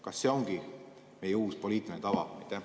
Kas see ongi meie uus poliitiline tava?